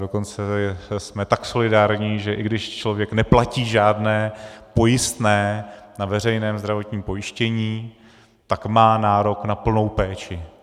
Dokonce jsme tak solidární, že i když člověk neplatí žádné pojistné na veřejné zdravotním pojištění, tak má nárok na plnou péči.